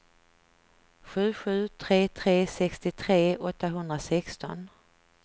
sju sju tre tre sextiotre åttahundrasexton